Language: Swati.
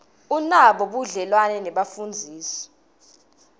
unabo budlelwane nebafundzisi